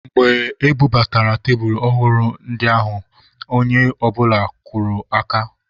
Mgbe e bubatara tebulu ọhụrụ ndị ahụ, onye ọbụla kụrụ aka.